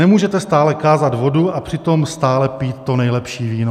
Nemůžete stále kázat vodu, a přitom stále pít to nejlepší víno.